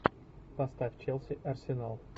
поставь челси арсенал